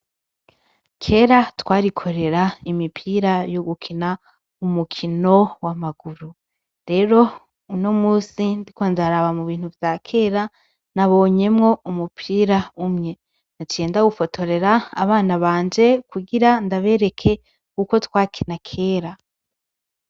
Kera twarikorera imipira yo gukina umukino w’amaguru, rero unomunsi ndiko ndaraba mubintu vya kera nabonyemwo umupira umwe, naciye ndawufotorera abana banje kugira ndabereke uko twakina kera.